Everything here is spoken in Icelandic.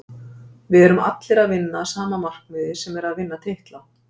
Við erum allir að vinna að sama markmiði sem er að vinna titla.